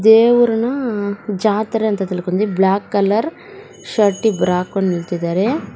ದೇವ್ರನ ಜಾತ್ರೆ ಅಂತ ತಿಳ್ಕೊಂಡ್ದೆ ಬ್ಲಾಕ್ ಕಲರ್ ಶರ್ಟಿ ಇಬ್ರಾ ಹಾಕೊಂಡ್ ನಿಂತಿದರೆ.